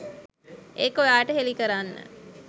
ඒක ඔයාට හෙළි කරන්න.